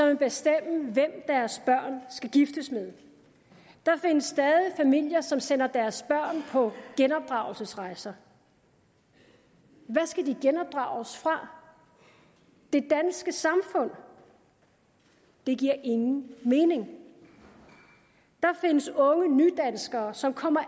vil bestemme hvem deres børn skal giftes med der findes stadig familier som sender deres børn på genopdragelsesrejser hvad skal de genopdrages fra det danske samfund det giver ingen mening der findes unge nydanskere som kommer